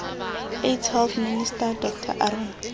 aids health minister dr aaron